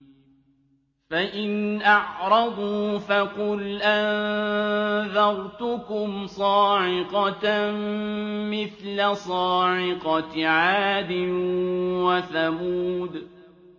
فَإِنْ أَعْرَضُوا فَقُلْ أَنذَرْتُكُمْ صَاعِقَةً مِّثْلَ صَاعِقَةِ عَادٍ وَثَمُودَ